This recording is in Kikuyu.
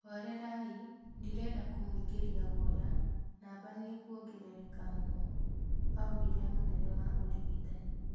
Horerai ndĩrenda kũmũingĩria guoya namba nĩkũongerereka mũno,"augire mũnene wa ũrĩgitani